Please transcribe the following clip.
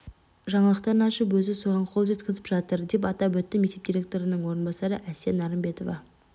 жаңалықтарын ашып өзі соған қол жеткізіп жатыр деп атап өтті мектеп директорының орынбасары әсия нарымбетова